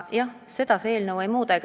Jah, seda see eelnõu ei muuda.